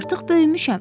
Artıq böyümüşəm.